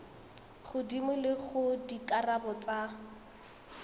godimo le gore dikarabo tsa